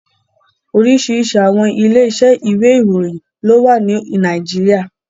Oríṣiríṣi àwọn ilé iṣẹ́ ìwé ìròyìn ló wà ní Nàìjíríà.